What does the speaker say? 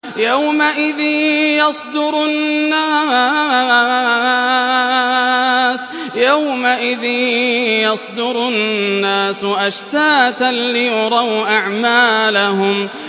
يَوْمَئِذٍ يَصْدُرُ النَّاسُ أَشْتَاتًا لِّيُرَوْا أَعْمَالَهُمْ